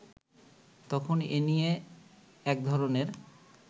তখন এনিয়ে এক ধরনের